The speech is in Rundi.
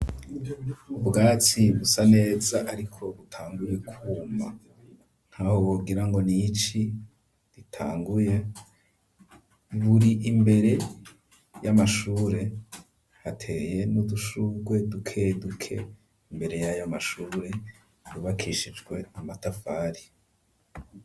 Ubwaci busa neza ariko butanguye kuma nkaho wogirango n'ici ritanguye buri imbere y'amashure hateye n'udushurwe duke duke imbere yayo mashure ryubakishijwe amatafari.